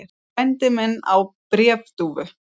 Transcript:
Frændi minn á bréfdúfur.